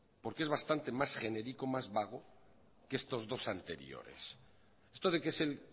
porque es bastante más genérico más vago que estos dos anteriores esto de que es el